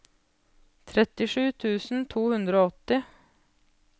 trettisju tusen to hundre og åtti